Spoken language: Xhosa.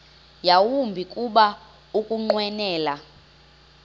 yawumbi kuba ukunqwenela